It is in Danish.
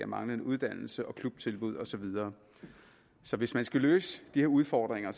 manglende uddannelse og manglende klubtilbud og så videre så hvis man skal løse de her udfordringer